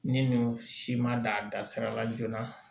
Ni nin si ma dan sira la joona